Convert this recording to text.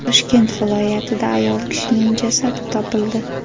Toshkent viloyatida ayol kishining jasadi topildi.